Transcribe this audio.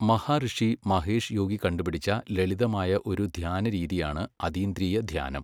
മഹാഋഷി മഹേഷ് യോഗി കണ്ടുപിടിച്ച ലളിതമായ ഒരു ധ്യാനരീതിയാണ് അതീന്ദ്രീയ ധ്യാനം.